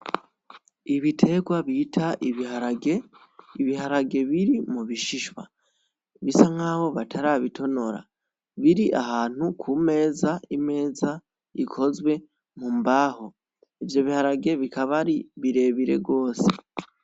Ibitegwa bita ibiharage, ibiharage biri mu bishishwa, bisa nkaho batarabitonora, biri ahantu ku meza, imeza ikozwe mu mbaho, ivyo biharage bikaba ari birebire gose.